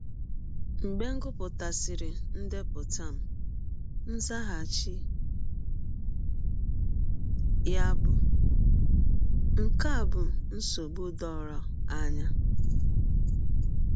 Mgbe m gụpụtasịrị ndepụta m, nzaghachi ya bụ: “ Nke a bụ nsọgbụ dọrọ anya.